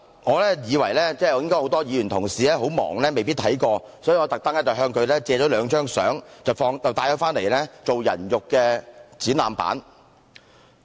我認為很多議員同事應該很忙，未必看過這個展覽，所以我特地向他們借來兩張照片，放在會議廳作"人肉展覽板"。